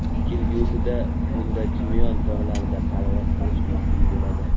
Kelgusida unda Chimyon tog‘larida parvoz qilish mumkin bo‘ladi.